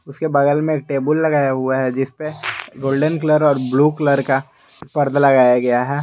उसके बगल में टेबुल लगाया हुआ है जिसपे गोल्डेन कलर और ब्लू कलर का पर्दा लगाया गया है।